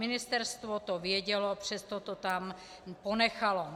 Ministerstvo to vědělo, přesto to tam ponechalo.